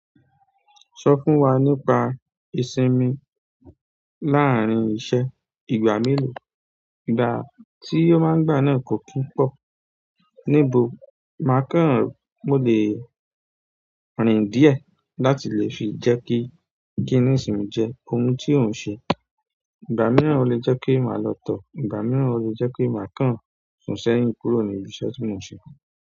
Sọ fún wa nípa ìsinmi láàárín iṣẹ́, ìgbà mélòó, ìgbà tí o máa ń gbà náà kò kín pọ̀. Níbo máa kàn mọ́ lé rìn díẹ̀ láti lè fi jẹ́ kí gínìsì mú jẹ́ ohun tí o ń ṣe. Ìgbà mìíràn o lè jẹ́ kí màá lọ̀tọ̀, ìgbà mìíràn o lè jẹ́ pe màá kàn sùn sẹ́yìn kúrò ní ibi iṣẹ́ tí mò ń ṣe.